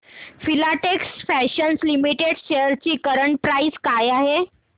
Filatex Fashions Limited shares ची current price काय आहे